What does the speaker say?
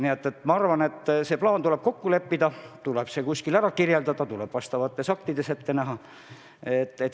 Nii et ma arvan, et see plaan tuleb kokku leppida, tuleb see kuskil ära kirjeldada, vastavates aktides ette näha.